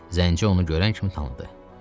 Zənci onu görən kimi tanıdı.